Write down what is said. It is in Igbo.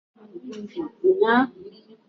È gburu ndụ ụnyahụ